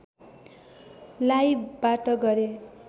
लाइबाट गरे